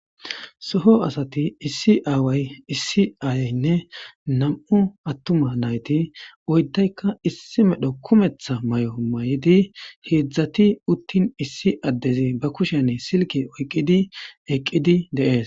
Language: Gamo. Soho asati issi aaway issi aayaynne nam'u attuma nayti oydaykka issi medho kumetha may'o may'idi heedzdzati uttin issi addezi ba kushene silke oyqqidi eqqidi deees.